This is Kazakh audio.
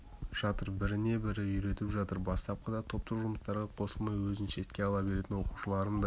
жатыр біріне бірі үйретіп жатыр бастапқыда топтық жұмыстарға қосылмай өзін шетке ала беретін оқушыларым да